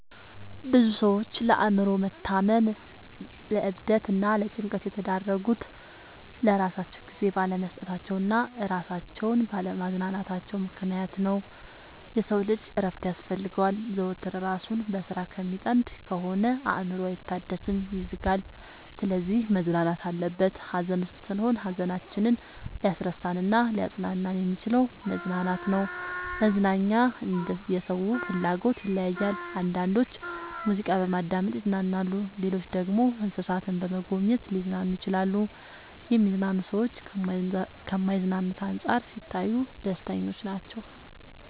ብዙ ሰዎች ለአእምሮ መታመም ለዕብደት እና ለጭንቀት የተዳረጉት ለራሳቸው ጊዜ ባለመስጠታቸው እና እራሳቸውን ባለ ማዝናናታቸው ምክንያት ነው። የሰው ልጅ እረፍት ያስፈልገዋል። ዘወትር እራሱን በስራ ከሚጠምድ ከሆነ አእምሮው አይታደስም ይዝጋል። ስለዚህ መዝናናት አለበት። ሀዘን ውስጥ ስንሆን ሀዘናችንን ሊያስረሳን እናሊያፅናናን የሚችለው መዝናናት ነው። መዝናናኛ እንደየ ሰው ፍላጎት ይለያያል። አንዳንዶች ሙዚቃ በማዳመጥ ይዝናናሉ ሌሎች ደግሞ እንሰሳትን በመጎብኘት ሊዝናኑ ይችላሉ። የሚዝናኑ ሰዎች ከማይዝናኑት አንፃር ሲታዩ ደስተኞች ናቸው።